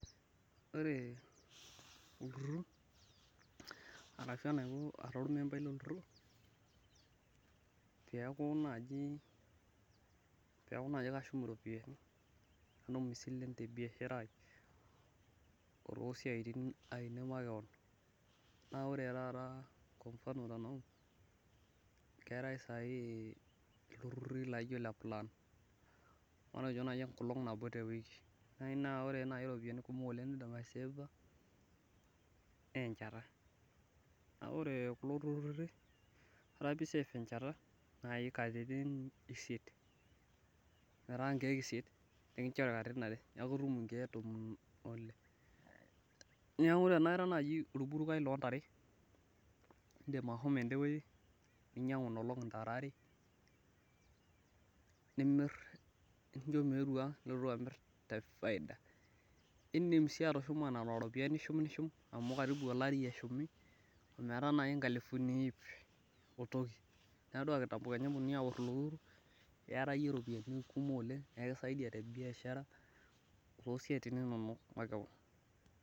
Ore olturur ashu ara obo lolturur, peeku naaji kashum iropiyiani, natum isilene te biashara ai, osiaitin ainei, makewon, naa ore taata, keetae sai iltururi laijo Ile plan matejo naaji enkolong' nabo te wiki, ore ropiyiani nidipa aiseefa, naa enchata. ore kulo turururi ore pee iseef enchata naaji katitin isiet, metaa nkeek isiet naa ekinchori katitin are, neeku ekinchori nkeek, tomon pile neeku tenaa ira naaji olburulai loo ntare idim ashomo ede wueji, ninyiangu Ina olong ntare are. nimir, nincho meetu anga nilotu amir, te faida. Idim sii atushuma Nena tare, amu olari ishum metaa naaji nkalifuni iip o toki. neeku teneori olturur, iyata iyie ropiyiani kumok oleng nikisaidia te biashara too siatin inonok, makewon.